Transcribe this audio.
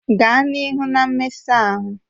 Gaa n'ihu na mmesa ahụ!